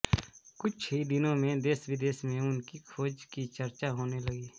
कुछ ही दिनों में देशविदेश में उनकी खोज की चर्चा होने लगी